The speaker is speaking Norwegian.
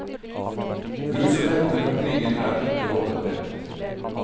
Grusomhetene fra krigen er ikke overdrevet.